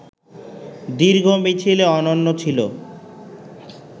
দীর্ঘ মিছিলে অনন্য ছিল